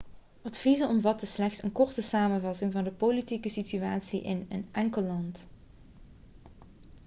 adviezen omvatten slechts een korte samenvatting van de politieke situatie in een enkel land